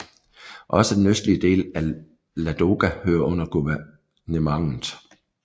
Også den østlige del af Ladoga hørte under guvernementet